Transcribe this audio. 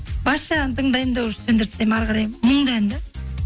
бас жағын тыңдаймын да уже сөндіріп тастаймын әрі қарай мұңды ән де